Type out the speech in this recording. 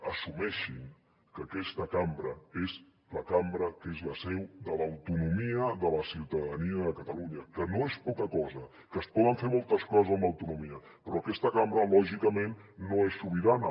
assumeixin que aquesta cambra és la cambra que és la seu de l’autonomia de la ciutadania de catalunya que no és poca cosa que es poden fer moltes coses amb l’autonomia però aquesta cambra lògicament no és sobirana